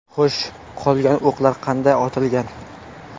Xo‘sh, qolgan o‘qlar qanday otilgan?